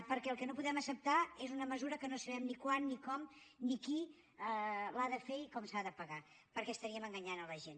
perquè el que no podem acceptar és una mesura que no sabem ni quan ni com ni qui l’ha de fer ni com s’ha de pagar perquè estaríem enganyant la gent